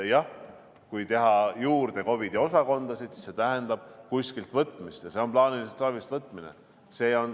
Jah, kui teha juurde COVID-i osakondasid, siis see tähendab kuskilt võtmist ja see on plaanilisest ravist võtmine.